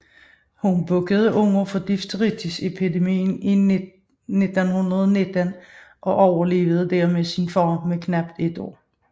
Hun bukkede under for difteriepidemien i 1919 og overlevede dermed sin far med knap et år